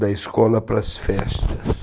da escola para as festas.